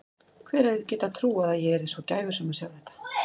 Hver hefði getað trúað að ég yrði svo gæfusöm að sjá þetta.